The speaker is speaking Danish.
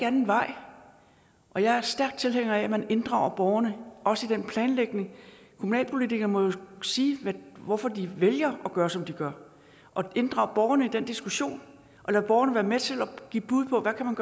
anden vej og jeg er stærk tilhænger af at man inddrager borgerne også i den planlægning kommunalpolitikere må jo sige hvorfor de vælger at gøre som de gør og inddrage borgerne i den diskussion og lade borgerne være med til at give bud på hvad man